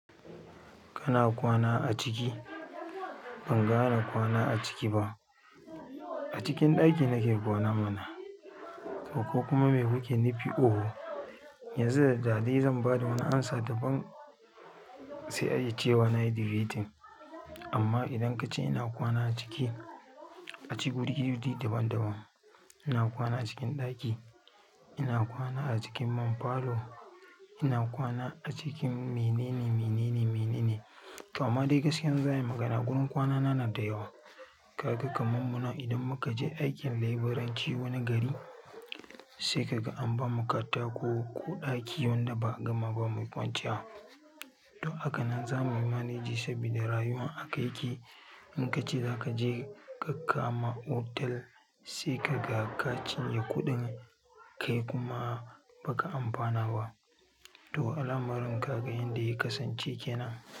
Kana kwana a ciki? Ban gane kwana a ciki ba. A cikin ɗaki nake kwana mana, ko kuma me kuke nufi? Oho, yanzu da daɗi zan ba da wani amsa daban sai ayi cewa nayi debating. Amma idan kace ina kwana a ciki, a ciki gudi gudi daban daban. Ina kwana a cikin ɗaki, ina kwana a cikin man falo, ina kwana a cikin menene, menene, menene. To amma dai gaskiya zan ayi magana, gurin kwana na na da yawa. Kaga kamam munana idan muka je aikin labiranci wani gari, sai ka ga an ba mu katako ko ɗaki wanda ba gama ba mu kwanciya. Don haka nan za muyi manage sabida rayuwan aka ya ke in kace za ka je ka kama otal sai ka ga ka cinye kuɗin kai kuma ba ka amfana ba. To al'amarin kaga yanda ya kasance kenan.